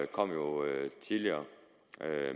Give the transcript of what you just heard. kom jo tidligere